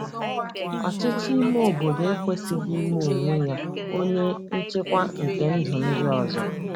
Ọchịchị Ime Obodo Ekwesịghị Ime Onwe Ya Onye Nchịkwa nke Ndụ Ndị Ọzọ ”